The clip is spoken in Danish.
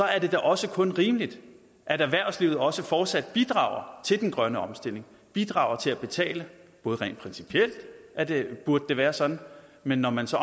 er det da også kun rimeligt at erhvervslivet også fortsat bidrager til den grønne omstilling bidrager til at betale både rent principielt burde det være sådan men når man så